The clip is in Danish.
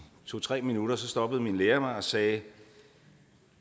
to tre minutter stoppede min lærer mig og sagde